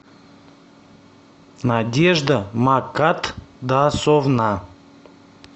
надежда макатдасовна